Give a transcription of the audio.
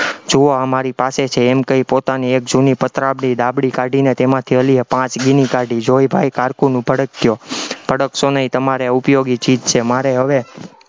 જુઓ આ મારી પાસે છે, એમ કહી પોતાની એક જૂની પત્રાવડી ડાબલી કાઢીને તેમાંથી અલીએ પાંચ કાઢી, એ જોઈ ભાઈ cocoon ભડક્યો, ભડકશો નહિ તમારે ઉપયોગી ચીઝ છે, મારે હવે